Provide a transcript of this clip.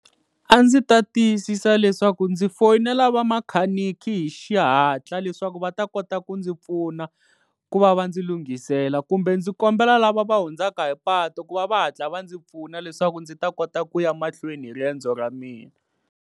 A ndzi ta tiyisisa leswaku ndzi foyinela va makhaniki hi xihatla leswaku va ta kota ku ndzi pfuna ku va va ndzi lunghisela kumbe ndzi kombela lava va hundzaka hi patu ku va va hatla va ndzi pfuna leswaku ndzi ta kota ku ya mahlweni hi riendzo ra mina.